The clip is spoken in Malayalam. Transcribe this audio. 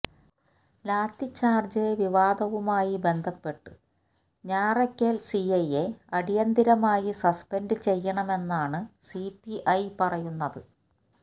ലാത്തിച്ചാര്ജ് വിവാദവുമായി ബന്ധപ്പെട്ട് ഞാറയ്ക്കൽ സിഐയെ അടിയന്തരമായി സസ്പെൻഡ് ചെയ്യണമെന്നാണ് സിപിഐ പറയുന്നത്